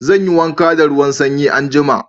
Zan yi wanka da ruwan sanyi anjima.